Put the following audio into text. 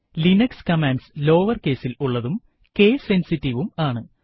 Linux commands lower case ൽ ഉള്ളതും case sensitive വും ആണ്